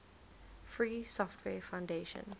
free software foundation